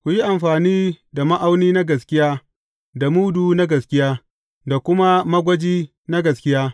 Ku yi amfani da ma’auni na gaskiya da mudu na gaskiya, da kuma magwaji na gaskiya.